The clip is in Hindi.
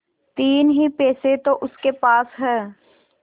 तीन ही पैसे तो उसके पास हैं